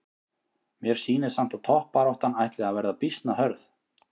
Mér sýnist samt toppbaráttan ætli að vera býsna hörð!